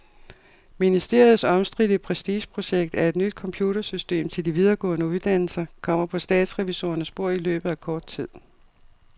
Ministeriets omstridte prestigeprojekt, et nyt computersystem til de videregående uddannelser, kommer på statsrevisorernes bord i løbet af kort tid.